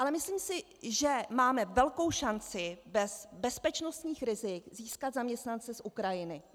Ale myslím si, že máme velkou šanci bez bezpečnostních rizik získat zaměstnance z Ukrajiny.